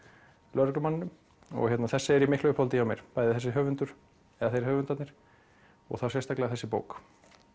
lögreglumanninum þessi er í miklu uppáhaldi hjá mér bæði þessi höfundur eða þeir höfundarnir og þá sérstaklega þessi bók